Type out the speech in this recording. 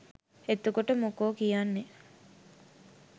එතකොට මොකෝ කියන්නේ